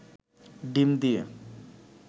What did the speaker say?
ডিম দিয়ে